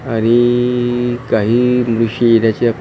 आणिइइ काही उशीर ह्या श्या .